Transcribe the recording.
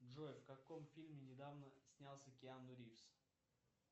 джой в каком фильме недавно снялся киану ривз